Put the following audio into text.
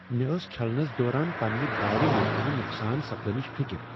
مےٚ ٲس چھلنس دوران پننہ گاڑِ ممکنہٕ نقصان سپدنچ فکر۔